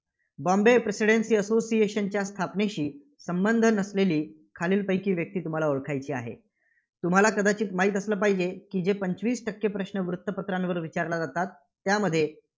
बाँबे presidency association च्या स्थापनेशी संबंध नसलेली खालीलपैकी व्यक्ती तुम्हाला ओळखायची आहे. तुम्हाला कदाचित माहीत असलं पाहिजे, की जे पंचवीस टक्के प्रश्न वृत्तपत्रांवर विचारल्या जातात. त्यामध्ये